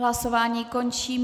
Hlasování končím.